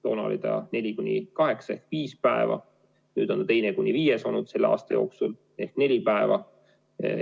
Toona oli see neli kuni kaheksa ehk viis päeva, nüüd on selle aasta jooksul olnud teine kuni viies päev ehk neli päeva.